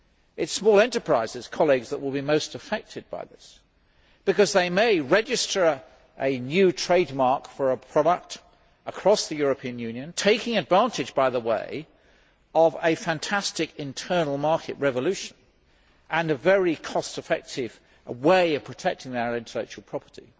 It is small enterprises that will be most affected by this because they may register a new trademark for a product across the European Union taking advantage, by the way, of a fantastic internal market revolution and a very cost effective way of protecting their intellectual property.